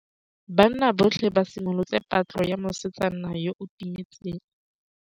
Banna botlhê ba simolotse patlô ya mosetsana yo o timetseng.